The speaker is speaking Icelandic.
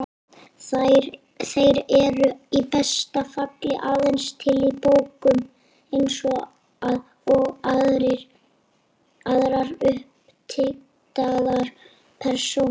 Þeir eru í besta falli aðeins til í bókum, eins og aðrar uppdiktaðar persónur.